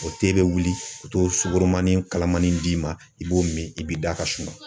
O te be wili i bi t'o sugoromanin kalamani d'i ma i b'o min i b'i da ka sunɔgɔ.